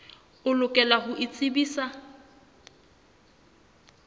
o lokela ho o tsebisa